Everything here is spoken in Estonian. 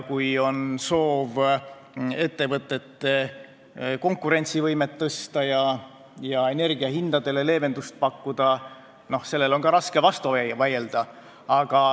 Kui on soov ettevõtete konkurentsivõimet tõsta ja energia hindadele leevendust pakkuda, siis ka sellele on raske vastu vaielda.